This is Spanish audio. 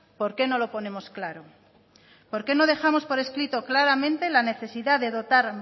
por qué no lo ponemos claro por qué no dejamos por escrito claramente la necesidad de dotar